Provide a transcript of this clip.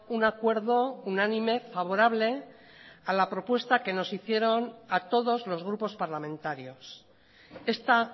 un acuerdo unánime favorable a la propuesta que nos hicieron a todos los grupos parlamentarios esta